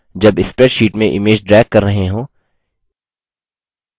जब spreadsheet में image drag कर रहे हों